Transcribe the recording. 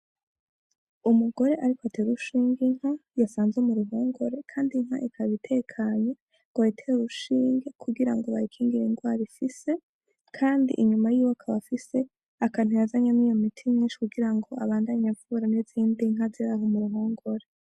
Umugore ariko atera urushinge Inka yasanze mu ruhongore, Kandi inka ikaba itekanye ngo bayitere urushinge kugirango bayikingire ingwara ifise, Kandi inyuma yiwe akaba afise akantu yazanyemwo iyo miti myinshi kugirango abandanye avura n'izindi nka ziraho mu ruhongore.